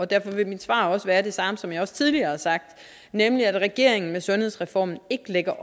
derfor vil mit svar også være det samme som jeg tidligere har sagt nemlig at regeringen med sundhedsreformen ikke lægger